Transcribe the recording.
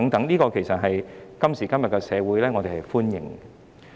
在今時今日的社會，我們是歡迎的。